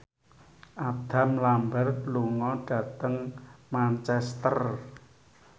Adam Lambert lunga dhateng Manchester